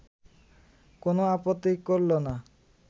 কোনো আপত্তি করল না